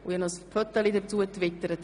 Ich habe dazu ein «Föteli» getwittert.